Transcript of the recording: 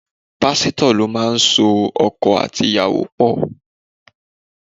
Pásítọ̀ lo máa so ọkọ àti ìyàwó pọ̀.